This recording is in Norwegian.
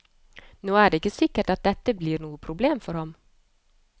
Nå er det ikke sikkert at dette blir noe problem for ham.